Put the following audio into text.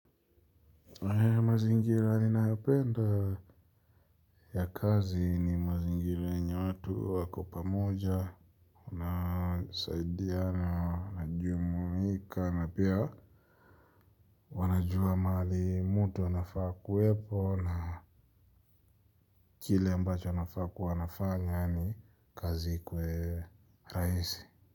Mazingira ninayopenda ya kazi ni mazingira yenye watu wako pamoja wanasaidiana, najumuika na pia wanajua mahali mutu anafaa ku wepo. Na kile ambacho anafaa ku wa anafanya yani kazi ikuwe raisi.